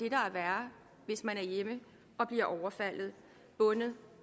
er værre hvis man er hjemme og bliver overfaldet bundet